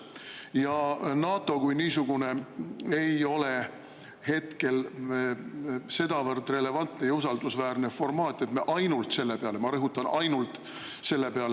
Ja NATO kui niisugune ei ole hetkel sedavõrd relevantne ja usaldusväärne formaat, et me ainult selle peale – ma rõhutan: ainult selle peale!